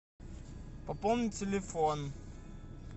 пополнить телефон